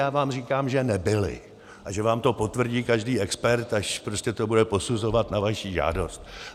Já vám říkám, že nebyly a že vám to potvrdí každý expert, až prostě to bude posuzovat na vaši žádost.